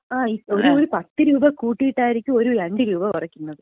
ഒര് പത്തുരൂപ കൂട്ടിയിട്ടായിരിക്കും ഒര് രണ്ട് രൂപ കുറയ്ക്കുന്നത്.